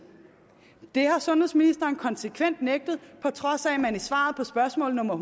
det har sundhedsministeren konsekvent nægtet at på trods af at man i svaret på spørgsmål nummer